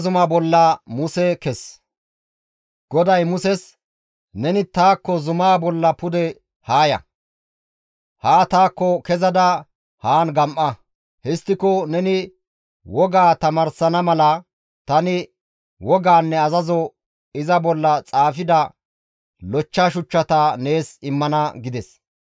GODAY Muses, «Neni taakko zumaa bolla pude haa ya; haa taakko kezada haan gam7a; histtiko neni wogaa tamaarsana mala tani wogaanne azazo iza bolla xaafida lochcha shuchchata nees immana» gides.